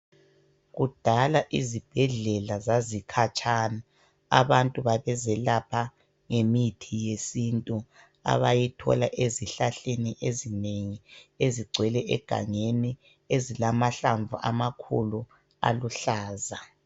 Kudala izibhedlela zazikhatshana abantu babezelapha ngemithi yesintu abayithola ezihlahleni ezinengi ezigcwele egangeni ezilamahlamvu amakhulu aluhlaza.